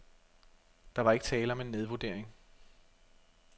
Der var ikke tale om en nedvurdering.